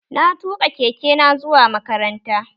Na tuƙa keke na zuwa makaranta